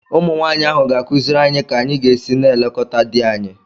Ụmụnwaanyị ahụ ga-akụziri anyị ka anyị ga-esi na-elekọta di anyị